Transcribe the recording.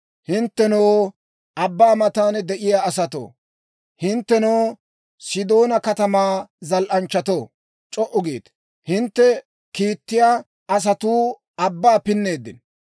Hinttenoo, abbaa matan de'iyaa asatoo, hinttenoo Sidoona katamaa zal"anchchatoo, c'o"u giite! Hintte kiittiyaa asatuu abbaa pinneeddino.